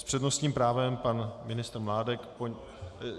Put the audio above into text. S přednostním právem pan ministr Mládek.